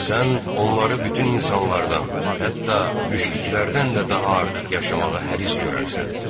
Sən onları bütün insanlardan, hətta müşriklərdən də daha artıq yaşamağa həris görərsən.